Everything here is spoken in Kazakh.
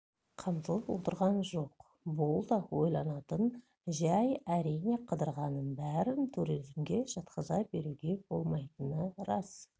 қамтылып отырған жоқ бұл да ойланатын жай әрине қыдырғанның бәрін туризмге жатқыза беруге болмайтыны рас